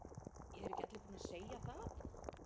Eru ekki allir búnir að segja það?